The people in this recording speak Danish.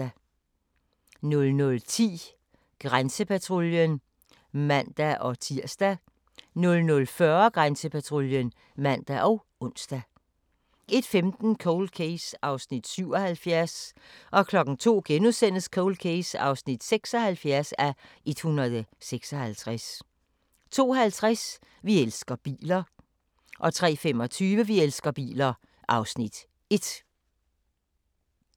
00:10: Grænsepatruljen (man-tir) 00:40: Grænsepatruljen (man og ons) 01:15: Cold Case (77:156) 02:00: Cold Case (76:156)* 02:50: Vi elsker biler 03:25: Vi elsker biler (Afs. 1)